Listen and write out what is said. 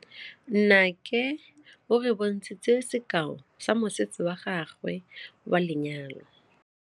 Nnake o re bontshitse sekaô sa mosese wa gagwe wa lenyalo.